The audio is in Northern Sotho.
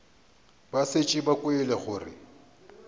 ba šetše ba kwele gore